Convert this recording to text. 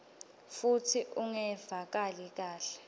futsi ungevakali kahle